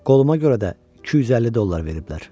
Qoluma görə də 250 dollar veriblər.